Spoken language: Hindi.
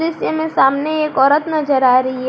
दृश्य में सामने एक औरत नजर आ रही है।